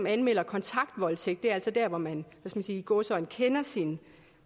anmelder kontaktvoldtægt det er altså der hvor man i gåseøjne kender sin